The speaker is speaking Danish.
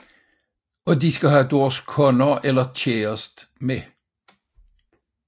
Og de skal have deres koner eller kæreste med